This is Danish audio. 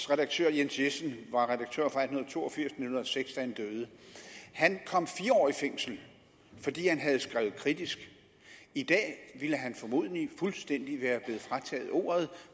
redaktør jens jessen var redaktør fra atten to og firs til hundrede og seks da han døde han kom fire år i fængsel fordi han havde skrevet kritisk i dag ville han formodentlig fuldstændig være blevet frataget ordet